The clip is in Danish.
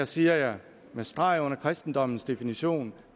siger jeg med streg under kristendommens definition